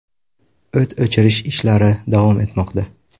O‘t o‘chirish ishlari davom etmoqda.